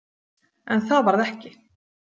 En það varð ekki.